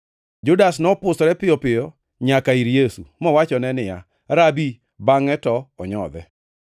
Judas nopusore piyo piyo nyaka ir Yesu, mowachone niya, “Rabi!” bangʼe to onyodhe.